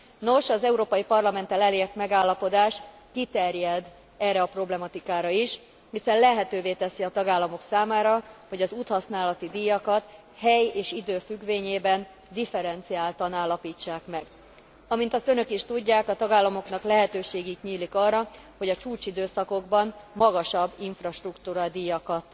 Nos, az Európai Parlamenttel elért megállapodás kiterjed erre a problematikára is, hiszen lehetővé teszi a tagállamok számára, hogy az úthasználati díjakat hely és idő függvényében differenciáltan állapítsák meg. Amint azt Önök is tudják, a tagállamoknak lehetőségük nyílik arra, hogy a csúcsidőszakokban magasabb infrastruktúradíjakat